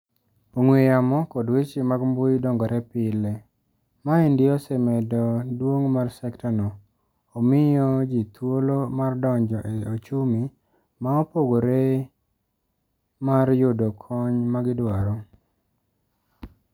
Ong'we yamo kod weche mag mbui dongore pile. Maendi osemedo duong' mar sekta no. Omio jii thuolo mar donjo e ochumi maopogore mar yudo kony ma gidwaro.